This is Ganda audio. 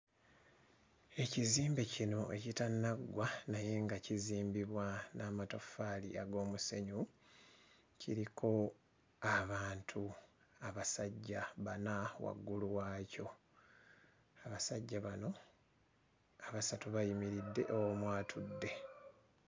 Ekizimbe kino ekitannaggwa naye nga kizimbibwa n'amataffaali ag'omusenyu kiriko abantu abasajja bana waggulu waakyo. Abasaja bano abasatu bayimiridde, omu atudde.